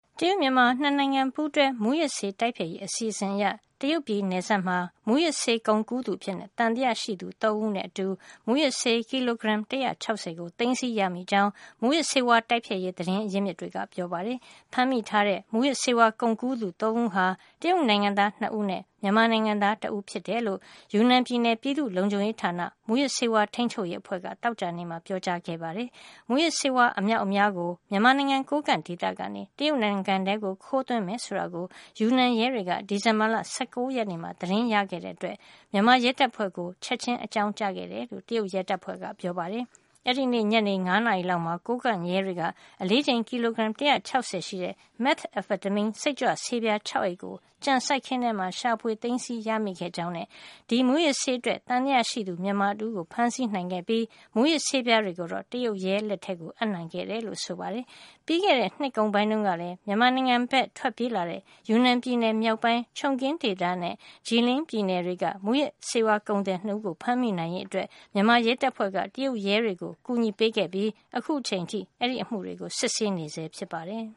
တရုတ်-မြန်မာ နှစ်နိုင်ငံပူးတွဲ မူးယစ်ဆေးတိုက်ဖျက်ရေး အစီအစဉ်အရ တရုတ်ပြည်နယ်စပ်မှာ မူးယစ်ဆေးကုန်ကူးသူအဖြစ် သံသယရှိသူ သုံးဦးနဲ့အတူ မူးယစ်ဆေး ကီလိုဂရမ် ၁၆၀ ကို သိမ်းဆည်းရမိခဲ့ကြောင်း မူးယစ်ဆေးတိုက်ဖျက်ရေး သတင်းရစ်မြစ်တွေက ပြောပါတယ်။ ဖမ်းမိထားတဲ့ မူယစ်ဆေးဝါးကုန်ကူးသူ သုံးဦးထဲမှာ တရုတ်နိုင်ငံသားနှစ်ဦးနဲ့ မြန်မာနိုင်ငံသား တဦးတို့ပါဝင်တယ်လို့ ယူနန်ပြည်နယ် ပြည်သူ့လုံခြုံရေးဌာန မူးယစ်ဆေးထိန်းချုပ်ရေးအဖွဲ့က သောကြာနေ့မှာ ပြောပါတယ်။ မူးယစ်ဆေး အမြောက်အများကို မြန်မာနိုင်ငံ ကိုးကန့်ဒေသကနေ တရုတ်နိုင်ငံထဲ ခိုးသွင်းမယ်ဆိုတာကို ယူနန်ရဲတွေက ဒီဇင်ဘာလ ၁၉ ရက်နေ့မှာ သတင်းရခဲ့တာကြောင့် မြန်မာရဲတပ်ဖွဲ့ကို ချက်ခြင်း အကြောင်းကြားခဲ့တယ်လို့ တရုတ်ရဲတွေက ပြောပါတယ်။ အဲဒီနေ့ ညနေ ၅ နာရီလောက်မှာ ကိုးကန့်ရဲတွေက အလေးချိန်ကီလိုဂရမ် ၁၆၀ ရှိတဲ့ မက်သာဖက်တမင်း စိတ်ကြွဆေးပြား ၆ အိတ်ကို ကြံစိုက်ခင်းထဲမှာ ရှာဖွေသိမ်းဆည်း မိခဲ့ကြောင်း၊ ဒီမူးယစ်ဆေးအတွက် သံသယရှိသူ မြန်မာတဦးကို ဖမ်းဆီးနိုင်ခဲ့ပြီး မူးယစ်ဆေးပြားတွေကိုတော့ တရုတ်ရဲလက်ထဲ အပ်နှံခဲ့တယ်လို့ ဆိုပါတယ်။ ပြီးခဲ့တဲ့ နှစ်ကုန်ပိုင်းတုန်းကလဲ မြန်မာနိုင်ငံဘက် ထွက်ပြေးလာတဲ့ ယူနန်ပြည်နယ်မြောက်ပိုင်း Chongqing ဒေသနဲ့ Jiling ပြည်နယ်တွေက မူးယစ် ကုန်သည်နှစ်ဦးကို ဖမ်းမိနိုင်ရေး မြန်မာရဲတပ်ဖွဲ့က တရုတ်ရဲတွေကို ကူညီခဲ့ပြီး အခုချိန်ထိ အဲဒီအမှုတွေကို စစ်ဆေးနေဆဲ ဖြစ်ပါတယ်